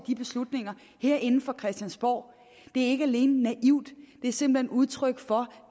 de beslutninger herinde på christiansborg er ikke alene naivt det er simpelt hen udtryk for